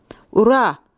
Ura!